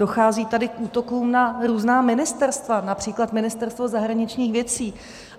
Dochází tady k útokům na různá ministerstva, například Ministerstvo zahraničních věcí.